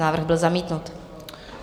Návrh byl zamítnut.